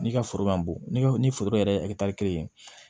N'i ka foro ma bon ni foro yɛrɛ ye